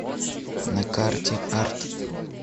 на карте арт